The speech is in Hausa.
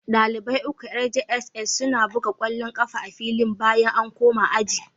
dalibai uku yar jss suna buga kwallo kafa a filin bayan an koma aji